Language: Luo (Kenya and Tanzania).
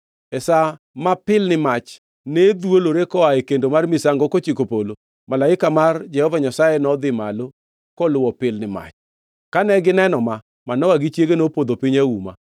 E sa ma pilni mach ne dhwolore koa e kendo mar misango kochiko polo, malaika mar Jehova Nyasaye nodhi malo koluwo pilni mach. Kane gineno ma, Manoa gi chiege nopodho piny auma.